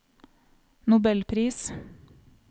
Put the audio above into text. nobelpris